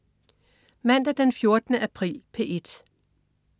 Mandag den 14. april - P1: